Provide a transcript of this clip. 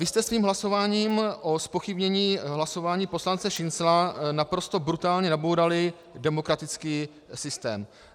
Vy jste svým hlasováním o zpochybnění hlasování poslance Šincla naprosto brutálně nabourali demokratický systém.